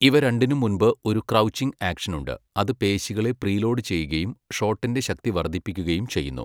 ഇവ രണ്ടിനും മുൻപ് ഒരു ക്രൗച്ചിംഗ് ആക്ഷനുണ്ട്, അത് പേശികളെ പ്രീലോഡ് ചെയ്യുകയും ഷോട്ടിന്റെ ശക്തി വർദ്ധിപ്പിക്കുകയും ചെയ്യുന്നു.